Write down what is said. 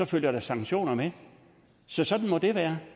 følger der sanktioner med så sådan må det være